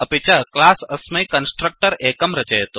अपि च क्लास् अस्मै कन्स्ट्रक्ट्रर् एकं रचयतु